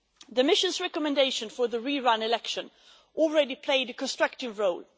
The mission's recommendation for the re run election has already played a constructive role.